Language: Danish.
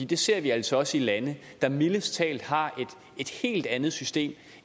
det ser vi altså også i lande der mildest talt har et helt andet system